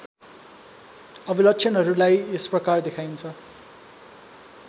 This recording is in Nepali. अभिलक्षणहरूलाई यसप्रकार देखाइन्छ